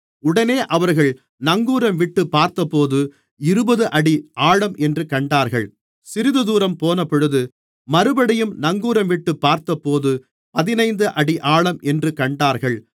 உடனே அவர்கள் நங்கூரம்விட்டுப் பார்த்தபோது இருபது அடி ஆழம் என்று கண்டார்கள் சிறிதுதூரம் போனபொழுது மறுபடியும் நங்கூரம்விட்டுப் பார்த்தபோது பதினைந்து அடி ஆழம் என்று கண்டார்கள்